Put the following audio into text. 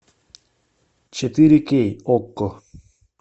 четыре кей окко